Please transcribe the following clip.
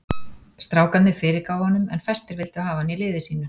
Strákarnir fyrirgáfu honum en fæstir vildu hafa hann í liði sínu.